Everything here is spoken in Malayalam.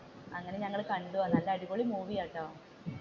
എന്നിട്ട് ഞങ്ങൾ കണ്ടു അടിപൊളി മൂവി ആണട്ടോ.